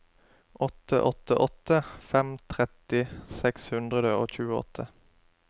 åtte åtte åtte fem tretti seks hundre og tjueåtte